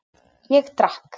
Ég drakk.